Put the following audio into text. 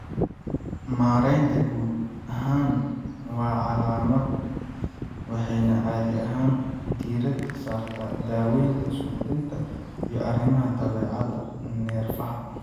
Maareynta guud ahaan waa calaamad waxayna caadi ahaan diiradda saartaa daaweynta suuxdinta iyo arrimaha dabeecadda neerfaha.